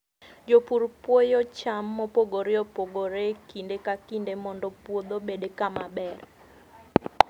Jopur puoyo cham mopogore opogore e kinde ka kinde mondo puodho obed kama ber.